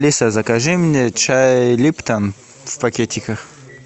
алиса закажи мне чай липтон в пакетиках